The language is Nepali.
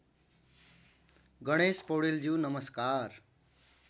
गणेश पौडेलज्यू नमस्कार